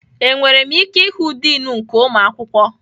Enwere m ike ịhụ diin nke ụmụ akwụkwọ?